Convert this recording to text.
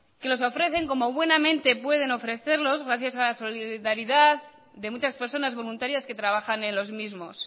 que los ofrecen como buenamente pueden ofrecerlos gracias a la solidaridad de muchas personas voluntarias que trabajan en los mismos